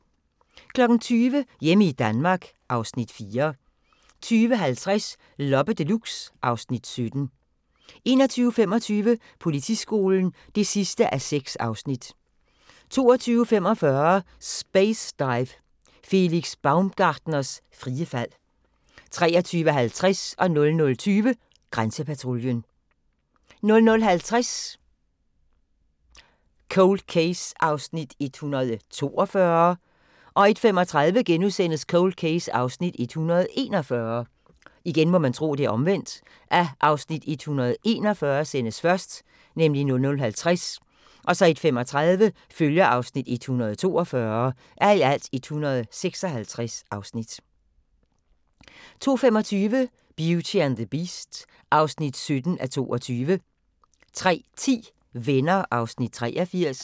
20:00: Hjemme i Danmark (Afs. 4) 20:50: Loppe Deluxe (Afs. 17) 21:25: Politiskolen (6:6) 22:45: Space Dive – Felix Baumgartners frie fald 23:50: Grænsepatruljen 00:20: Grænsepatruljen 00:50: Cold Case (142:156) 01:35: Cold Case (141:156)* 02:25: Beauty and the Beast (17:22) 03:10: Venner (83:235)